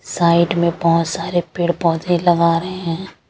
Side में बोहोत सारे पेड़ पोधे लगा रहे है।